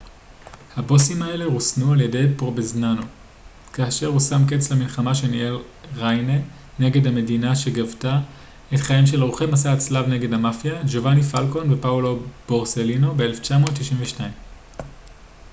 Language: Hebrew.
הבוסים האלו רוסנו על ידי פרובנזאנו כאשר הוא שם קץ למלחמה שניהל ריינה נגד המדינה שגבתה את חייהם של עורכי מסע הצלב נגד המאפיה ג'ובאני פלקון ופאולו בורסלינו ב-1992